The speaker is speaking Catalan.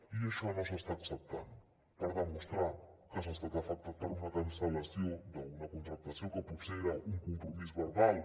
i això no s’està acceptant per demostrar que s’ha estat afectat per una cancel·lació d’una contractació que potser era un compromís verbal